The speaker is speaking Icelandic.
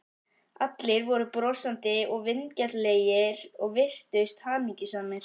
Allir voru brosandi og vingjarnlegir og virtust hamingjusamir.